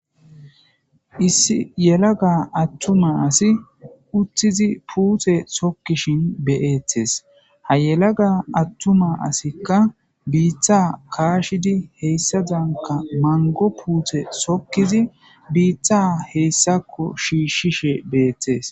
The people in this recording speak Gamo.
issi yelaga attuma asi utthizi puuthe sokkishin beyettes ha yelaga attuma asikka biitha kaashidi heyssa danka mango puuthe sokkizi biittha heyssakko shiishshishe beettes